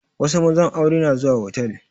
Wasu mazan aure na zuwa hotal